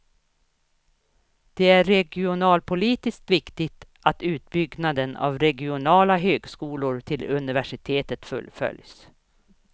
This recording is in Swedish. Det är regionalpolitiskt viktigt att utbyggnaden av regionala högskolor till universitet fullföljs.